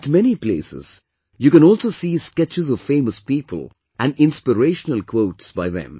At many places, you can also see sketches of famous people and inspirational quotes by them